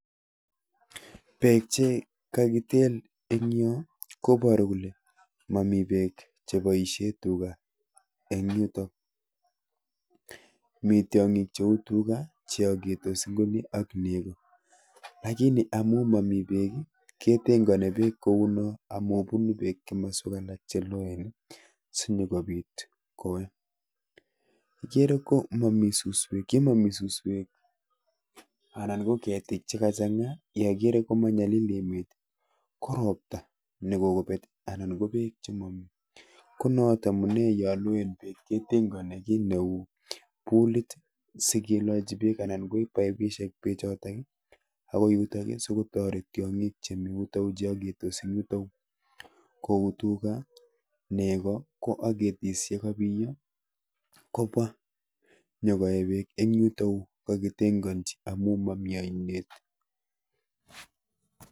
Peek Che kakitel. eng nyoo koparu Kole Mami peeek KO nguno igere Ile paisheeee Tuga olimamii peek kounoo ketengenii sigopit nekipaishee peeek sigoeee tiongik cheuu Tuga AK negoo